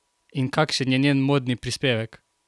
In kakšen je njen modni prispevek?